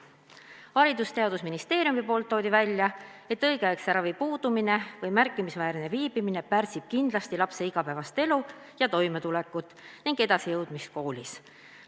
Haridus- ja Teadusministeeriumi esindaja tõi välja, et õigeaegse ravi puudumine või märkimisväärne hilinemine pärsib kindlasti lapse igapäevast elu ja toimetulekut ning koolis edasijõudmist.